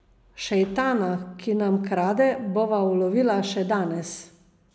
Šejtana, ki nam krade, bova ulovila še danes.